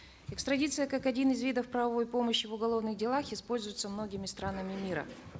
экстрадиция как один из видов правовой помощи в уголовных делах используется многими странами мира